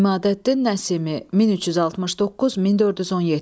İmadəddin Nəsimi, 1369-1417.